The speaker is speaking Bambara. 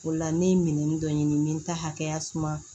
O la ne ye minɛn dɔ ɲini n bɛ n ta hakɛya suma